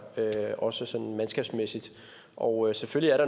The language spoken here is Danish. også sådan mandskabsmæssigt og selvfølgelig er